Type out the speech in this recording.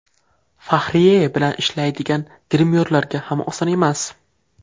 Fahriye bilan ishlaydigan grimyorlarga ham oson emas.